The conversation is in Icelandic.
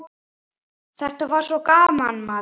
Þetta er svo gaman, maður.